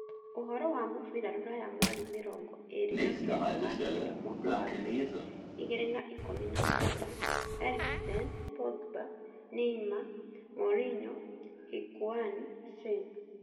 Ũhoro wa mũbira rũraya mweri mĩrongo ĩĩrĩ na kenda wakenda mwaka wa ngiri igĩrĩ na ikũmi na kenda: Eriksen, Pogba, Neymar, Mourinho, Hikuain, Sane